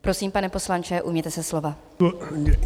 Prosím, pane poslanče, ujměte se slova.